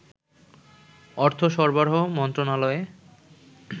অর্থ সরবরাহ মন্ত্রণালয়ে